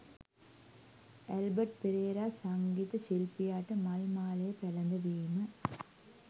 Albert Perera සංගීත ශිල්පියාට මල් මාලය පැළඳවීම